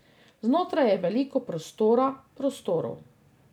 Znotraj je veliko prostora, prostorov.